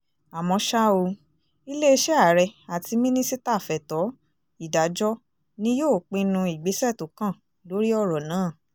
àmọ́ ṣá o iléeṣẹ́ ààrẹ àti mínísítà fẹ̀tọ́ ìdájọ́ ni yóò pinnu ìgbésẹ̀ tó kàn lórí ọ̀rọ̀ náà